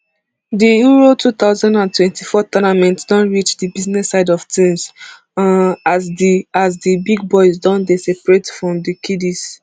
di euro two thousand and twenty-four tournament don reach di business side of tins um as di as di big boys don dey separate from di kiddies